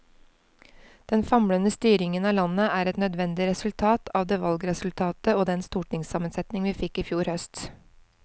Den famlende styringen av landet er et nødvendig resultat av det valgresultat og den stortingssammensetning vi fikk i fjor høst.